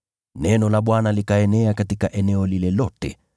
Neno la Bwana likaenea katika eneo lile lote.